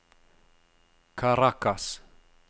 Caracas